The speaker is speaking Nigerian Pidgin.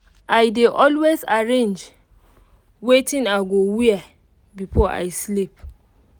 i dey always arrange wetin i go wear before i sleep